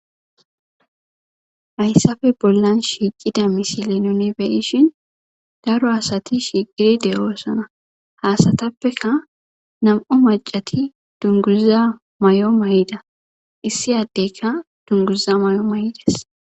Hayssafe bollan shiiqida misile nuuni be7ishin daro asathi shiiqidi de7oosana; ha asathappeka nam7u maccathi dunguzza may7o may7ida; issi addeyka dunguza may7o may7i des.